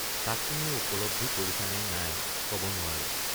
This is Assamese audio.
তাক তুমি উপলব্ধি কৰিছানে নাই কব নোৱাৰো।